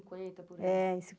por ai. É